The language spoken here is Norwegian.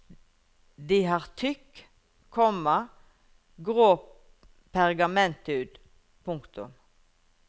De har tykk, komma grå pergamenthud. punktum